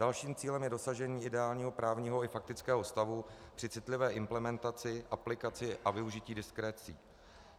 Dalším cílem je dosažení ideálního právního i faktického stavu při citlivé implementaci, aplikaci a využití diskrecií.